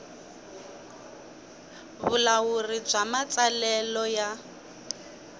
vulawuri bya matsalelo ya